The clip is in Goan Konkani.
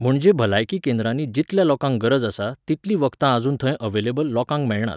म्हणजे भलायकी केंद्रांनी जितल्या लोकांक गरज आसा तितलीं वखदां आजून थंय अवेलेबल, लोकांक मेळनात.